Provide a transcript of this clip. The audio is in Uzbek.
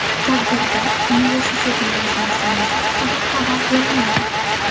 Tadbirda universitetning ochilish sanasi haqida xabar berilmagan.